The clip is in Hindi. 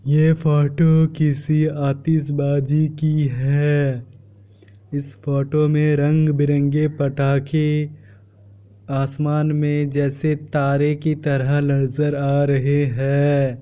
ये फोटो किसी आतिशबाजी की है। इस फोटो मे रंग-बिरंगे पटाके आसमान मे जैसे तारे की तरह नजर आ रहे हैं।